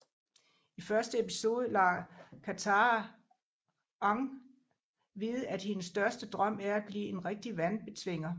I første episode lader Katara Aang vide at hendes største drøm er at blive en rigtig vandbetvinger